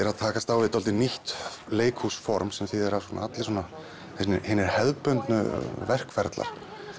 að takast á við dálítið nýtt leikhúsform sem þýðir að allir hinir hinir hefðbundnu verkferlar